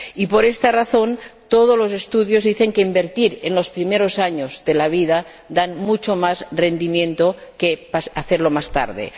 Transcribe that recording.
Y por esta razón, todos los estudios dicen que invertir en los primeros años de la vida da mucho más rendimiento que hacerlo más tarde.